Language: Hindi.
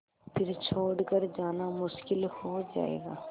फिर छोड़ कर जाना मुश्किल हो जाएगा